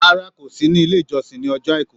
Rárá, kò sí ní ilé-ìjọsìn ní ọjọ́ Àìkú.